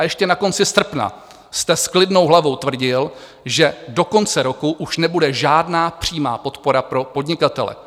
A ještě na konci srpna jste s klidnou hlavou tvrdil, že do konce roku už nebude žádná přímá podpora pro podnikatele.